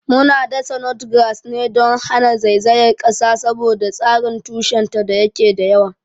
Muna dasa Notgrass ne don hana zaizayar kasa saboda tsarin tushenta da yake da yawa.